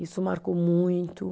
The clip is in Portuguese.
Isso marcou muito.